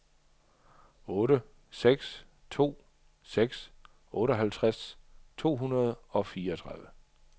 otte seks to seks otteoghalvtreds tre hundrede og fireogtredive